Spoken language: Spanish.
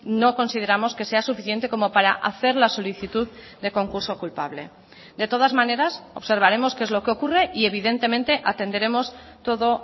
no consideramos que sea suficiente como para hacer la solicitud de concurso culpable de todas maneras observaremos qué es lo que ocurre y evidentemente atenderemos todo